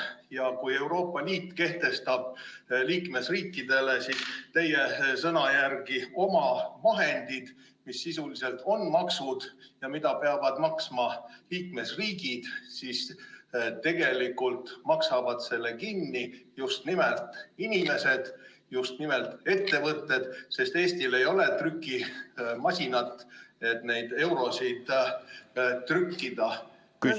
Kui Euroopa Liit kehtestab liikmesriikidele teie sõnul omavahendid, mis sisuliselt on maksud ja mida peavad maksma liikmesriigid, siis tegelikult maksavad selle kinni just nimelt inimesed ja just nimelt ettevõtted, sest Eestil ei ole trükimasinat, et eurosid juurde trükkida.